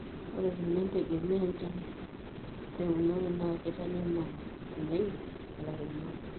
ore eteneintegemea enchan teunore naa keitanyama l oleng ilairemok